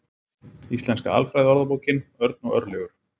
Íslenska alfræðiorðabókin. Örn og Örlygur.